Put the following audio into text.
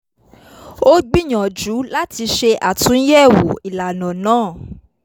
ó gbìyànjú láti ṣe àtúnyẹ̀wò ìlànà náà